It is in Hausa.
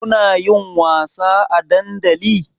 Kunayin wasa a dandali?